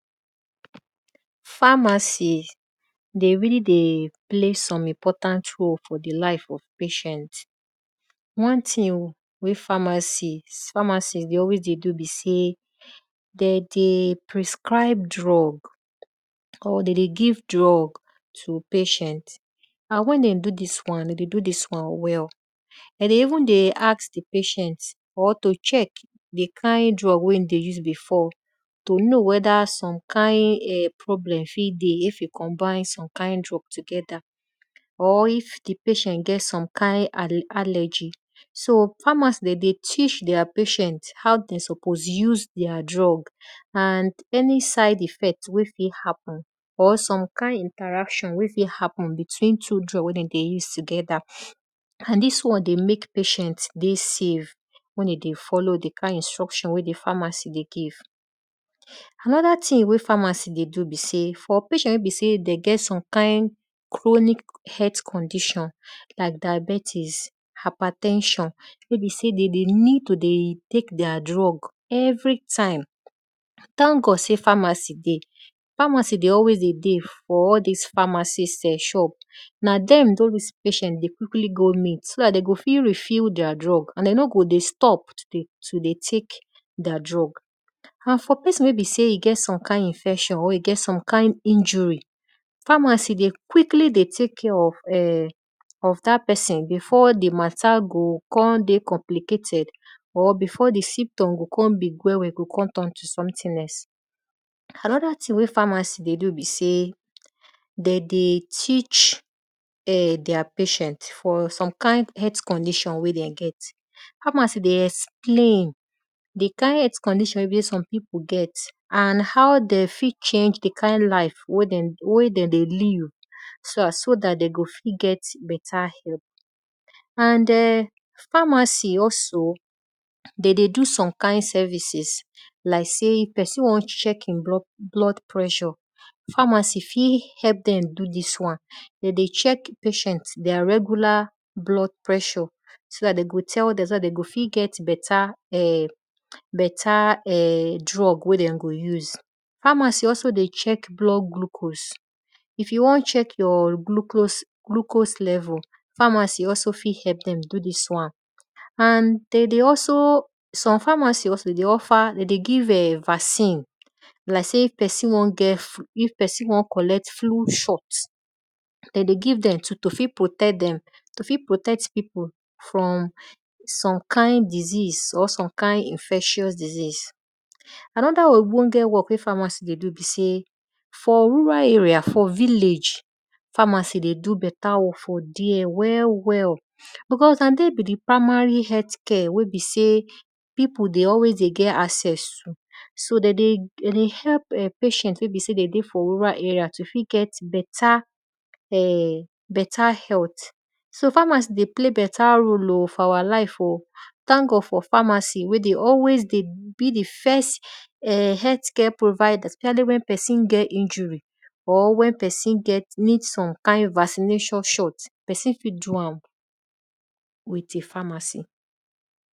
Pharmacy dey rally dey play important role for di lives of patient. One thing pharmacy dey always dey do be sey de dey prescribe drugs cause de dey give to patient and wen den do dis wan de dey do dis wan well. De dey even deyask di patient or to check di kind drug wey e dey use before to know weda som kind problemfit deyif you combine some kind drug together pr if di patient get some kind allergy. So pharmacy de dey teach their patient how de suppose use their drug and any side effect wey fit happen or some kind interaction wey fit hppen between two drug wey de dey use together and dis wan dey mek patient dey save wen e dey follow di kind instruction wey di pharmacydey give. Anoda thing wey pharmacy dey do b sey for patient wey be sey de gt some kind chronic health condition like diabetics, hyper ten sion wey be sey de dey need to dey tek their drug everytime thank god sey pharmacy de always dey dey. Pharmy dey alswyas dey dey for all dis pharmacy shop, na dem all dis patient dey quikly go meet so dat de go fit refile their drug and de no go dey stop to dey tek their drug. And for pesin wey b sey e get some kind infection or e get some kind injury, pharmacy dey quickly dey tek care of[um]dat pesin before di mata go kon dey complicated or before di symptom gokon big kon turn to something else. Anodathing wey pharmacy dey do be sey de dey teach their patient for some kind heakth condition wey dem get. Pharmacy dey explain di kind health condition wey be sey some pipiu get and how den fit change di kind live wen de dey live so dat de go fit gt beta health. And[um]pharmacy also de dey do some kind services like sey if pesin won check e blood pressure, pharmacy fit do dis wan, de dey check pesin their regula blood pressure so dat dey go fit get beta drug wey den go use. Pharmacy dey also check blood glucose if you won check your glucose levels pharmacy also fit helpo dem do dis one. And de dey also some pharmacy dey offer de dey give vaccine like sey if pesin won collect free shot, de dey give dem too to fit protect pipu from some kind disease or some kind infectious diseas. anoda ogboonge work wey pharmacy dey do be sey for rural areas, for village, pharmacy dey do beta one well well because na dem be di primary health care wey be sey pipu dey get access to. So de dey hlp patient wey be sey den dey for rural area to fit get beta health. So pharmacy de play beta role o for our life o. thank God for pharmacy wey dey always dey be di first[um]health care provider specially wen psin get injury or wen pesi get need some kind vaccination shot, pesin fit do am with p harmacy.